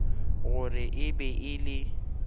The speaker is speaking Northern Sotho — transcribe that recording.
gore e be e le